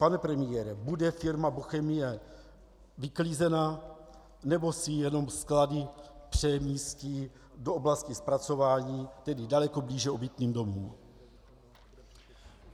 Pane premiére, bude firma Bochemie vyklizena, nebo si jenom sklady přemístí do oblasti zpracování, tedy daleko blíže obytným domům?